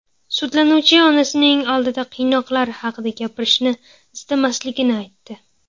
Sudlanuvchi onasining oldida qiynoqlar haqida gapirishni istamasligini aytdi.